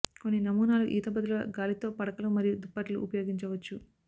కొన్ని నమూనాలు ఈత బదులుగా గాలితో పడకలు మరియు దుప్పట్లు ఉపయోగించవచ్చు